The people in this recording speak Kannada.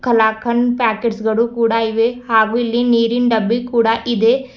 ಕಲಾಕಂಡ್ ಪ್ಯಾಕೆಟ್ಸ್ ಗಳು ಕೂಡ ಇವೆ ಹಾಗೂ ಇಲ್ಲಿ ನೀರಿನ್ ಡಬ್ಬಿ ಕೂಡ ಇದೆ.